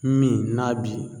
Min n'a bi